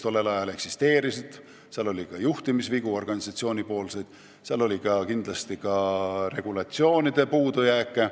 Tuli ette ka juhtimisvigu ja organisatsioonis oli kindlasti ka regulatsioonide puudujääke.